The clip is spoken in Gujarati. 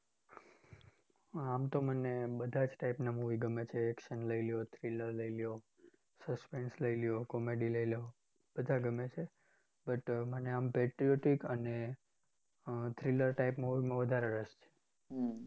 આમ તો મને બધા જ type ના movie ગમે છે. Action લઈ લ્યો, thriller લઈ લ્યો, suspense લઈ લ્યો, comedy લઈ લ્યો. બધા ગમે છે but મને આમ patriotic અને thriller type movie માં વધારે રસ છે.